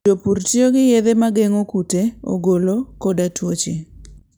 Jopur tiyo gi yedhe ma geng'o kute, ogolo, koda tuoche.